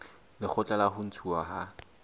lekgotla la ho ntshuwa ha